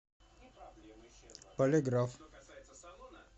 полиграф